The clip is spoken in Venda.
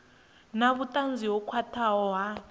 na vhutanzi ho khwathaho ha